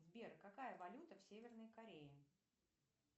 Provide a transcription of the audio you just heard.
сбер какая валюта в северной корее